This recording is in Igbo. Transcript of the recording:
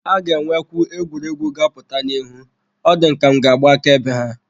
A ga-enwekwu egwuregwu ga-apụta n'ihu, ọ dị m ka m ga-agba akaebe ha.